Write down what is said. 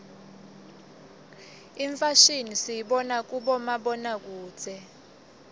imfashimi siyibona kubomabonakudze